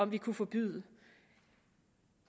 vi kunne forbyde